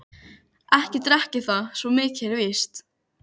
Ekki drekk ég það, svo mikið er víst.